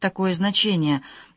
такое значение